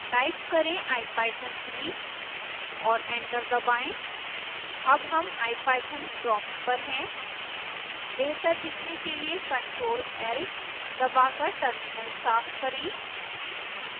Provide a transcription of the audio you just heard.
type करें ipython3 और enter दबाएं हम अब ipython प्रोम्प्ट पर हैं